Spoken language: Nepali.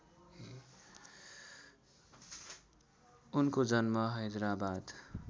उनको जन्म हैदराबाद